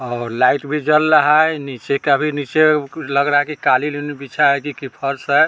और लाइट भी जल लहा है नीचे का भी नीचे लग रहा है कि कालीन-उलिन बिछा है कि फर्श है ।